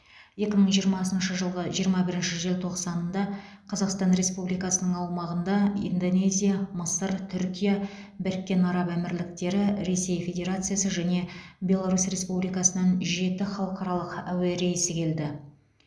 екі мың жиырмасыншы жылғы жиырма бірінші желтоқсанында қазақстан республикасының аумағына индонезия мысыр түркия біріккен араб әмірліктері ресей федерациясы және беларусь республикасынан жеті халықаралық әуе рейсі келді